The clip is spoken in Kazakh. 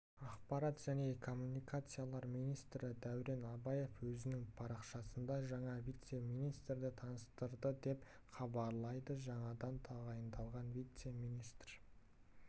ақпарат және коммуникациялар министрі дәурен абаев өзінің парақшасында жаңа вице-министрді таныстырды деп хабарлайды жаңадан тағайындалған вице-министр